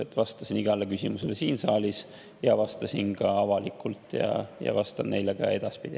Ma vastasin igale küsimusele siin saalis ja vastasin ka avalikult ja vastan ka edaspidi.